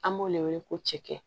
An b'o de wele ko cɛkɛ